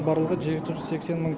барлығы жеті жүз сексен мың